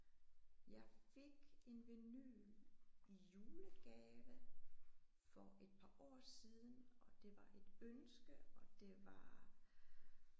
Jeg fik en vinyl i julegave for et par år siden og det var et ønske og det var